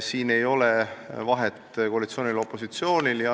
Siin ei ole vahet koalitsioonil ja opositsioonil.